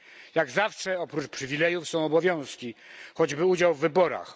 Jak zawsze oprócz przywilejów są obowiązki, choćby udział w wyborach.